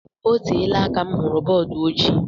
Oteela aka m hụrụ bọọdu ojii